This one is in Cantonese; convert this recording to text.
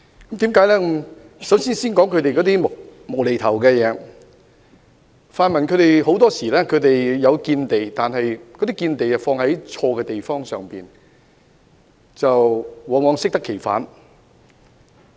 我首先談談他們"無厘頭"的地方，泛民議員很多時候是有見地的，但卻放在錯誤的地方，往往適得其反。